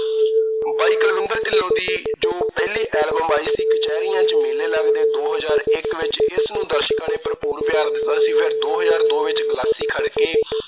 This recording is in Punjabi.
ਬਾਈ ਕੁਲਵਿੰਦਰ ਢਿੱਲੋਂ ਦੀ ਜੋ ਪਹਿਲੀ album ਆਈ ਸੀ, ਕਚਹਿਰੀਆਂ ਚ ਮੇਲੇ ਲੱਗਦੇ, ਦੋ ਹਜ਼ਾਰ ਇੱਕ ਵਿੱਚ। ਇਸ ਨੂੰ ਦਰਸ਼ਕਾਂ ਨੇ ਭਰਪੂਰ ਪਿਆਰ ਦਿੱਤਾ ਸੀ। ਫਿਰ ਦੋ ਹਜ਼ਾਰ ਦੋ ਵਿੱਚ ਗਲਾਸੀ ਖੜਕੇ।